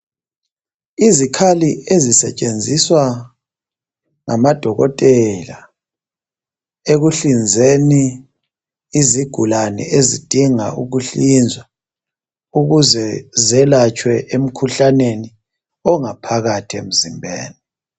Izikhali ezisetshenziswa ngamadokotela ekuhlinzeni izigulane ezidinga ukuhlinzwa ukuze zelatshwe emkhuhlaneni ongaphakathi emzimbeni.